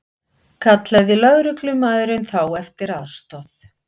Kallaði lögreglumaðurinn þá eftir aðstoð